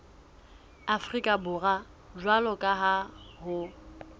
afrika borwa jwalo ka ha